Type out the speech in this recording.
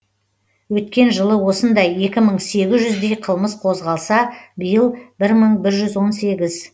өткен жылы осындай екі мың сегіз жүздей қылмыс қозғалса биыл бір мың бір жүз он сегіз